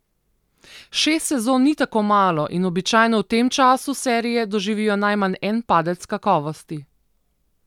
Šest sezon ni tako malo in običajno v tem času serije doživijo najmanj en padec kakovosti.